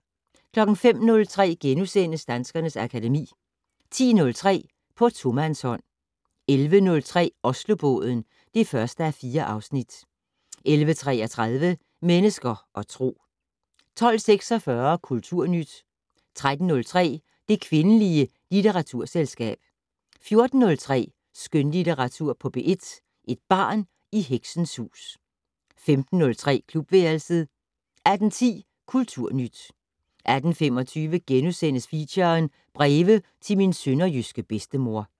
05:03: Danskernes akademi * 10:03: På tomandshånd 11:03: Oslobåden (1:4) 11:33: Mennesker og Tro 12:46: Kulturnyt 13:03: Det kvindelige litteraturselskab 14:03: Skønlitteratur på P1: Et barn i heksens hus 15:03: Klubværelset 18:10: Kulturnyt 18:25: Feature: Breve til min sønderjyske bedstemor *